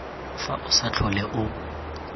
fa o sa tlhole o